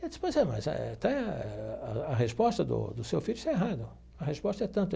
Ele disse, pois é, mas está a resposta do do seu filho está errado, a resposta é tanto.